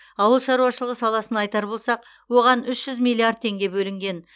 ауыл шаруашылығы саласын айтар болсақ оған үш жүз миллиард теңге бөлінген